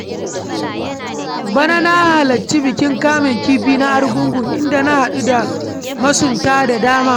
Bana na halarci bikin kamun kifi na Argungun, inda na haɗu da masunta da dama.